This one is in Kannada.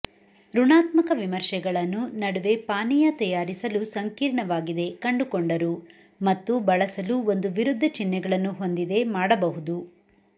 ಋಣಾತ್ಮಕ ವಿಮರ್ಶೆಗಳನ್ನು ನಡುವೆ ಪಾನೀಯ ತಯಾರಿಸಲು ಸಂಕೀರ್ಣವಾಗಿದೆ ಕಂಡುಕೊಂಡರು ಮತ್ತು ಬಳಸಲು ಒಂದು ವಿರುದ್ಧಚಿಹ್ನೆಗಳನ್ನು ಹೊಂದಿದೆ ಮಾಡಬಹುದು